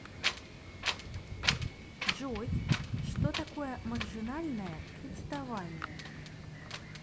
джой что такое маржинальное кредитование